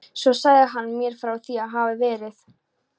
Svo sagði hann mér frá því að það hefði verið